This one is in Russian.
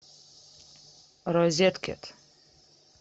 розеткед